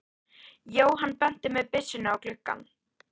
Jóhann benti með byssunni á gluggann.